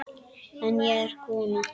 En ég er kona.